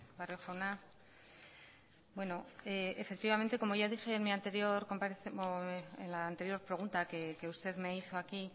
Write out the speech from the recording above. barrio jauna bueno efectivamente como ya dije en la anterior pregunta que usted me hizo aquí